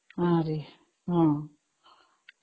ହଁ ହଁ